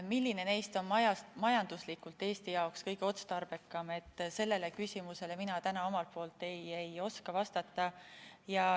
Milline neist on majanduslikult Eesti jaoks kõige otstarbekam, sellele mina täna vastata ei oska.